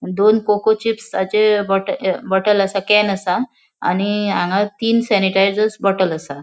दोन coco chips चे बोट अ बॉटल असा कॅन आसा आणि हांगा तीन सेनीटायजर्स बॉटल आसा.